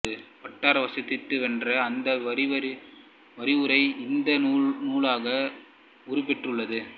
butter வாதிட்டு வென்ற அந்த விரிவுரை இந்த நூலாக உருப்பெற்றுள்ளது